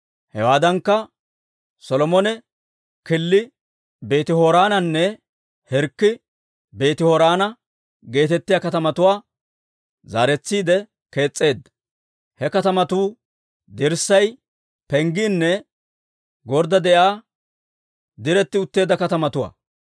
Hewaadankka, Solomone Killi Beeti-Horoonanne Hirkki Beeti-Horoona geetettiyaa katamatuwaa zaaretsiide kees's'eedda; he katamatuu dirssay, penggiinne gorddaa de'iyaa diretti utteedda katamatuwaa.